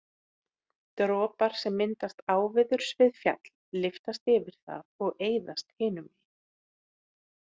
Dropar sem myndast áveðurs við fjall lyftast yfir það og eyðast hinu megin.